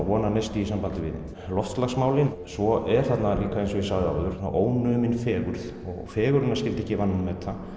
vonarneisti í sambandi við loftslagsmálin og svo er þarna eins og ég sagði áður ónumin fegurð og fegurðina skyldi ekki vanmeta